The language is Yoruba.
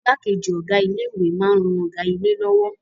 Igbákejì Ọ̀gá ilé ìwé máa ń ran Ọ̀gá ilé lọ́wọ́